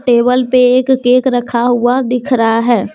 Table पे एक cake रखा हुआ दिख रहा है।